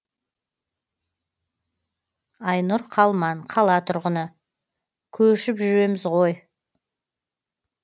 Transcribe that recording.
айнұр қалман қала тұрғыны көшіп жүреміз ғой